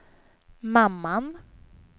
mamman